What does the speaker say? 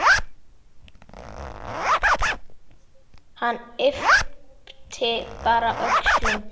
Hann yppti bara öxlum.